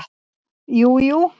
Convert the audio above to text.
Jú, jú